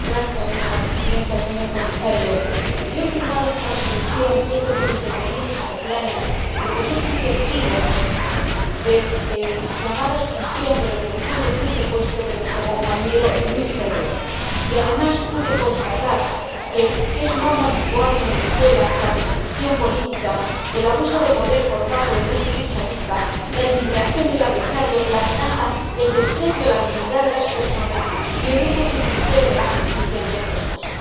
Señora Presidenta, señor Comisario, he firmado esta Resolución y he pedido intervenir en este Pleno porque yo fui testigo de la llamada expulsión —que en el fondo fue un secuestro— de nuestro compañero Luis Herrero. Además, pude constatar que son norma habitual en Venezuela la persecución política, el abuso de poder por parte del régimen chavista, la intimidación del adversario, la amenaza, el desprecio a la dignidad de las personas y el uso torticero de la justicia, entre otras cosas.